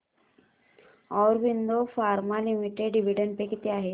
Aurobindo pharma limited dividend pay किती आहे